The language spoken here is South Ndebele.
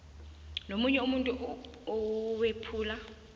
nomunye umuntu owephula